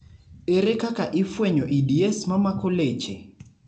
ere kaka ifwenyo EDS mamako leche?